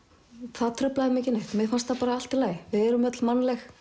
það truflaði mig ekki neitt mér fannst það allt í lagi við erum öll mannleg